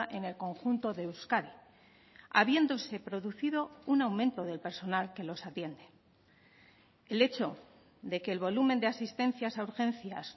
en el conjunto de euskadi habiéndose producido un aumento del personal que los atiende el hecho de que el volumen de asistencias a urgencias